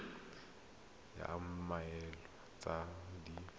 id ya mmoelwa tse di